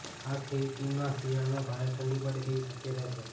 આ સ્થિતિમાં શિયાળામાં ભારે ઠંડી પડે તેવી શક્યતા છે